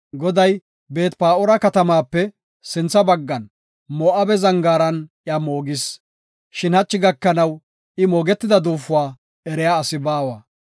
Goday Beet-Pa7oora katamaape sintha baggan Moo7abe zangaaran iya moogis. Shin hachi gakanaw I moogetida duufuwa eriya asi baawa.